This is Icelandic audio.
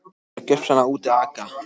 Þið eruð gjörsamlega úti að aka.